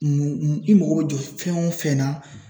I mago bɛ jɔ fɛn o fɛn na